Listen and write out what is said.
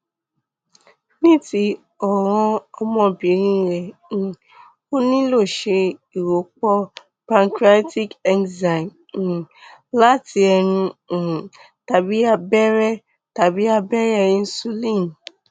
ní ti ọràn ọmọbìnrin rẹ um ó nílò ṣe ìrọpò pancreatic enzyme um láti ẹnu um tàbí abẹrẹ tàbí abẹrẹ insulin